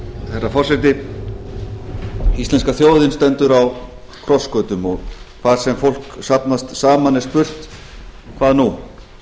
herra forseti íslenska þjóðin stendur á krossgötum og hvar sem fólk safnast saman er spurt hvað nú